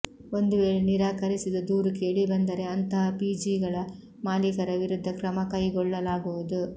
ಒಂದು ವೇಳೆ ನಿರಾಕರಿಸಿದ ದೂರು ಕೇಳಿ ಬಂದರೆ ಅಂತಹ ಪಿಜಿಗಳ ಮಾಲಿಕರ ವಿರುದ್ಧ ಕ್ರಮ ಕೈಗೊಳ್ಳಲಾಗುವುದು